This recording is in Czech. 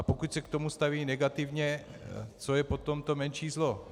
A pokud se k tomu stavějí negativně, co je potom to menší zlo.